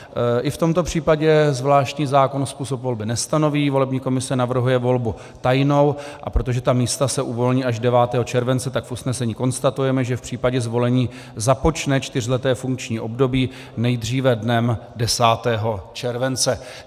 I v tomto případě zvláštní zákon způsob volby nestanoví, volební komise navrhuje volbu tajnou, a protože ta místa se uvolní až 9. července, tak v usnesení konstatujeme, že v případě zvolení započne čtyřleté funkční období nejdříve dnem 10. července.